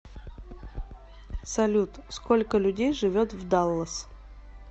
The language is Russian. салют сколько людей живет в даллас